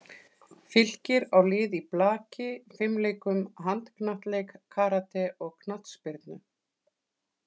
Fylkir á lið í blaki, fimleikum, handknattleik, karate og knattspyrnu.